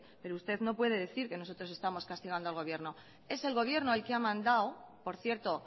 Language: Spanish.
pero usted no puede decir que nosotros estamos castigando al gobierno es el gobierno el que ha mandado por cierto